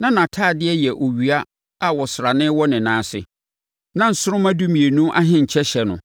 na nʼatadeɛ yɛ owia a ɔsrane wɔ ne nan ase, na nsoromma dumienu ahenkyɛ hyɛ no.